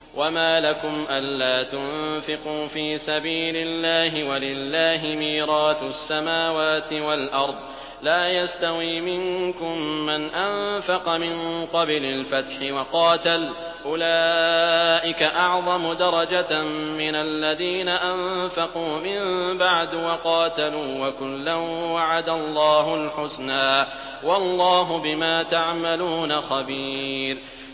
وَمَا لَكُمْ أَلَّا تُنفِقُوا فِي سَبِيلِ اللَّهِ وَلِلَّهِ مِيرَاثُ السَّمَاوَاتِ وَالْأَرْضِ ۚ لَا يَسْتَوِي مِنكُم مَّنْ أَنفَقَ مِن قَبْلِ الْفَتْحِ وَقَاتَلَ ۚ أُولَٰئِكَ أَعْظَمُ دَرَجَةً مِّنَ الَّذِينَ أَنفَقُوا مِن بَعْدُ وَقَاتَلُوا ۚ وَكُلًّا وَعَدَ اللَّهُ الْحُسْنَىٰ ۚ وَاللَّهُ بِمَا تَعْمَلُونَ خَبِيرٌ